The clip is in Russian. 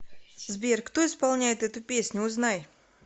сбер кто исполняет эту песню узнай